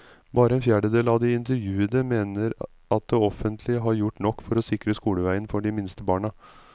Bare en fjerdedel av de intervjuede mener at det offentlige har gjort nok for å sikre skoleveien for de minste barna.